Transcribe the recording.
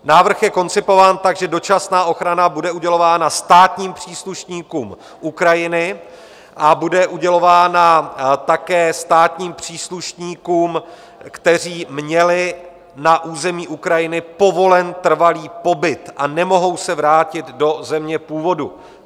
Návrh je koncipován tak, že dočasná ochrana bude udělována státním příslušníkům Ukrajiny a bude udělována také státním příslušníkům, kteří měli na území Ukrajiny povolen trvalý pobyt a nemohou se vrátit do země původu.